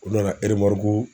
O nana eremaruku